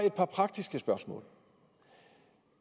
et par praktiske spørgsmål